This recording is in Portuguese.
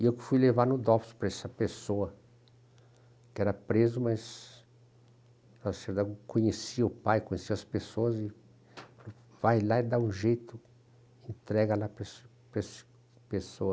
E eu fui levar no Dops para essa pessoa, que era preso, mas o Lacerda conhecia o pai, conhecia as pessoas, e vai lá e dá um jeito, entrega lá para essa para essa pessoa.